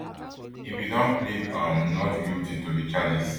e bin don plead um not guilty to di charges